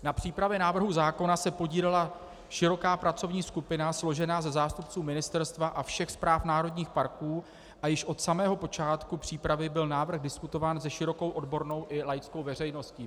Na přípravě návrhu zákona se podílela široká pracovní skupina složená ze zástupců ministerstva a všech správ národních parků a již od samého počátku přípravy byl návrh diskutován se širokou odbornou i laickou veřejností.